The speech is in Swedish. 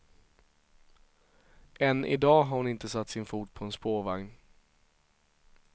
Än i dag har hon inte satt sin fot på en spårvagn.